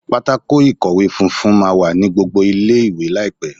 Pátákó ìkọ̀wé funfun máa wà ní gbogbo ilé ìwé láìpẹ́.